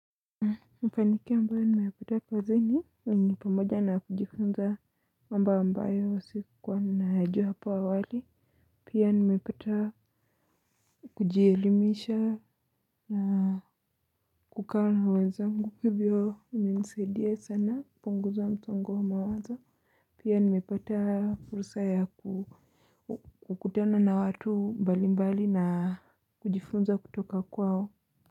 Mafanikio ambayo nimepata kazini ni pamoja na kujifunza mambo ambayo sikuwa ninayajua hapo awali pia nimepata kujielimisha na kukaa na wenzangu hivyo imenisaidia sana kupunguza msongo wa mawazo pia nimepata fursa ya kukutana na watu mbalimbali na kujifunza kutoka kwao.